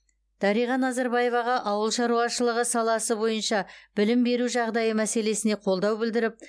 дариға назарбаеваға ауыл шаруашылығы саласы бойынша білім беру жағдайы мәселесіне қолдау білдіріп